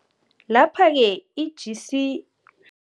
Laphake i-GC